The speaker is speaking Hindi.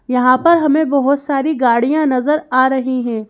यहां पर हमें बहोत सारी गाड़ियां नजर आ रही हैं।